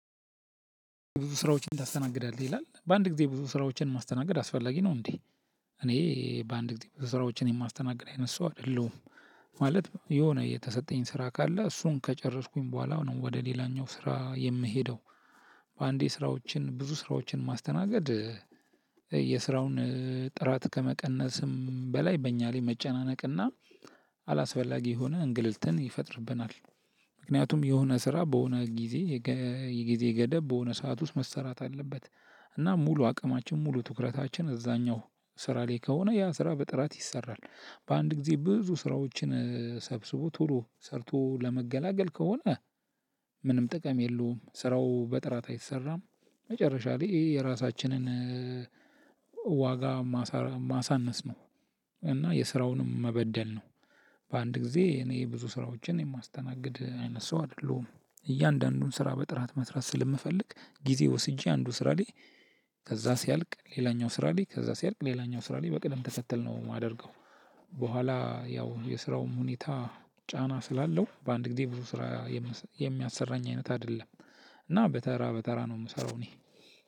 ብዙ ስራዎችን ታስተናግዳለህ ይላል? በአንድ ጊዜ ብዙ ስራዎችን ማስተናገድ አስፈላጊ ነው እንዴ? እኔ በአንድ ጊዜ ስራዎችን የማስተናግድ አይነት ሰው አይደለሁም። ማለት የሆነ የተሰጠኝ ስራ ካለ እሱን ከጨረስኩኝ በኋላ ነው ወደ ሌላኛው ስራ የምሄደው። በአንዴ ስራዎችን ብዙ ስራዎችን ማስተናገድ የስራውን ጥራት ከመቀነስም በላይ በእኛ ላይ መጨናነቅና አላስፈላጊ የሆነ እንግልትን ይፈጥርብናል። ምክንያቱም የሆነ ስራ በሆነ ጊዜ የጊዜ ገደብ በሆነ ሰዓት ውስጥ መሰራት አለበት። እና ሙሉ አቅማችን ሙሉ ትኩረታችን እዛኛው ስራ ላይ ከሆነ ያ ስራ በጥራት ይሰራል። በአንድ ጊዜ ብዙ ስራዎችን ሰብስቦ ቶሎ ሰርቶ ለመገላገል ከሆነ ምንም ጥቅም የለውም ስራው በጥራት አይሰራም። መጨረሻ ላይ የራሳችንን ዋጋ ማሳነስ ነው። እና የስራውንም መበደል ነው። በአንድ ጊዜ እኔ ብዙ ስራዎችን የማስተናግድ አይነት ሰው አይደለሁም። እያንዳንዱን ስራ በጥራት መስራት ስለምፈልግ ጊዜ ወስጄ አንዱ ስራ ላይ ከዛ ሲያልቅ ሌላኛው ስራ ላይ ከዛ ሲያልቅ ሌላኛው ስራ ላይ በቅደም ተከተል ነው የማደርገው። በኃላ ያው የስራው ሁኔታ ጫና ስላለው በአንድ ጊዜ ብዙ ስራ የምያሰራኝ አይነት አደለም። እና በተራ በተራ ነው የሚሰራው እኔ።